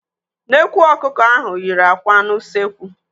Nnekwu ọkụkọ ahụ yiri àkwà n'ụsekwu.